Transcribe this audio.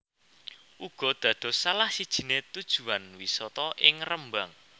uga dados salah sijine tujuan wisata ing Rembang